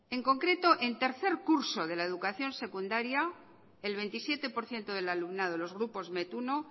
en concreto en tercer curso de la educación secundaria el veintisiete por ciento del alumnado los grupos met uno